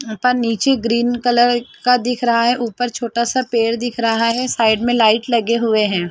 पर नीचे green colour का दिख रहा है ऊपर छोटा सा पेड़ दिख रहा है साइड में लाइट लगे हुए हैं।